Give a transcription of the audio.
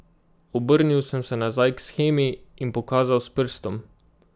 Obrnil sem se nazaj k shemi in pokazal s prstom.